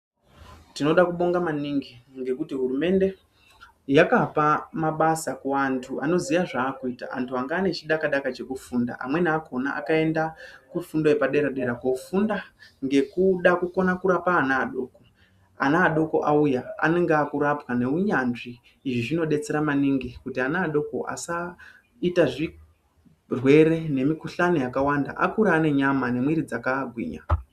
Tinoda kubonga maningi ngekuti hurumende yakapa mabasa ku antu anoziya zvaakuita antu anga ane chidaka daka cheku funda amweni akona akaenda ku fundo yepa dera dera kofunda ngekuda kukona kurapa ana adoko ana adoko auya anenge akurapwa ne unyanzvi izvi zvino detsera maningi kuti ana adoko asaita zvirwere ne mikuhlani yakawanda akure ane nyama ne mwiri dzaka gwinya.